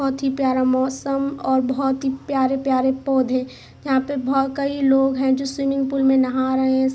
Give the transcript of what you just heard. बहोत ही प्यारा मौसम और बहोत ही प्यारे-प्यारे पौधे यहाँ पे बहोत कई लोग है जो स्विमिंग पुल में नहा रहे ।